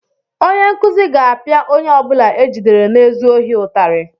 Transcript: Onye nkuzi ga-apịa onye ọ bụla e jidere na-ezu ohi ụtarị.